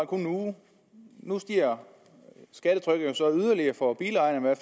kun en uge nu stiger skattetrykket jo så yderligere for bilejerne i